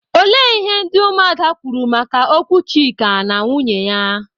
Olee ihe ndị ụmụ ada kwuru maka okwu Chika na nwunye ya?